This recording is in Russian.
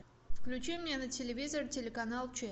включи мне на телевизор телеканал че